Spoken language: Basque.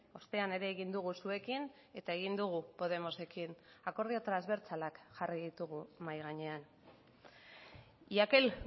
ostean ere egin dugu zuekin eta egin dugu podemosekin akordio transbertsalak jarri ditugu mahai gainean y aquel